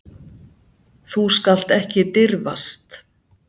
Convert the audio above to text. Þú skalt ekki dirfast.